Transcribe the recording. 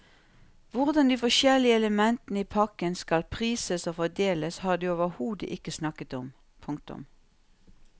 Hvordan de forskjellige elementene i pakken skal prises og fordeles har de overhodet ikke snakket om. punktum